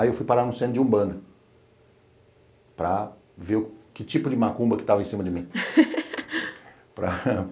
Aí eu fui parar no centro de Umbanda para ver que tipo de macumba que estava em cima de mim. para